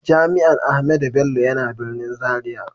Jami'an Ahmadu Bello yana birnin Zaria.